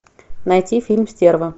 найти фильм стерва